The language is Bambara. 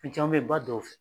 caman bɛ ba dɔw fɛ.